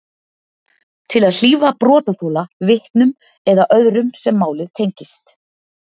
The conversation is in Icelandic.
Til að hlífa brotaþola, vitnum eða öðrum sem málið tengist.